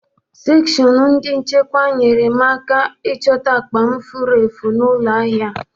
Sekshọnụ ndị nchekwa nyere m aka ịchọta akpa m furu efu n'ụlọ ahịa.